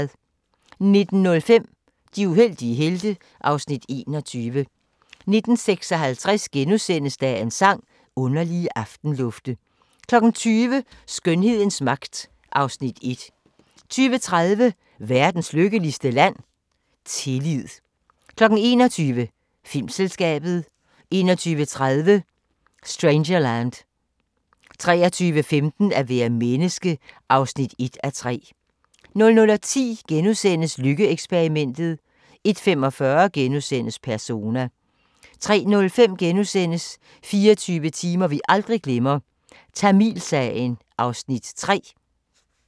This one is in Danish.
19:05: De uheldige helte (Afs. 21) 19:56: Dagens Sang: Underlige aftenlufte * 20:00: Skønhedens magt (Afs. 1) 20:30: Verdens lykkeligste land? -tillid 21:00: Filmselskabet 21:30: Strangerland 23:15: At være menneske (1:3) 00:10: Lykke-eksperimentet * 01:45: Persona * 03:05: 24 timer vi aldrig glemmer – Tamilsagen (3:13)*